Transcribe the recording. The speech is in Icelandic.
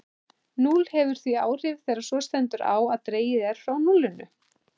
Núll hefur því áhrif þegar svo stendur á að dregið er frá núllinu.